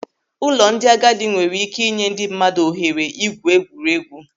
Ụlọ ndị agadi nwere ike ị nye ndị mmadụ ohere ịgwu egwuregwu.